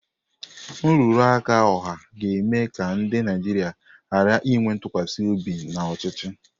Nrụrụ aka ọha ga-eme ka ndị Naijiria ghara inwe ntụkwasị obi n'ọchịchị.